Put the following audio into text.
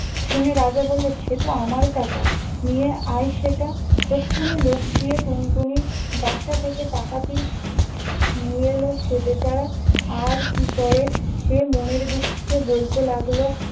শুনে রাজা বললে- সেতো আমার টাকা! নিয়ে আয় সেটা। তক্ষুণি লোক গিয়ে টুনটুনির বাসা থেকে টাকাটি নিয়ে এল। সে বেচারা আর কি করে! সে মনের দুঃখে বলতে লাগল-